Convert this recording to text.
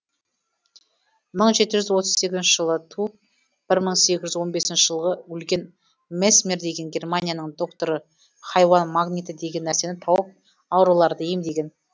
мың жеті жүз отыз сегізінші жылы туып бір мың сегіз жүз он бесінші жылғы өлген месмер деген германияның докторы хайуан магниті деген нәрсені тауып ауруларды емдеген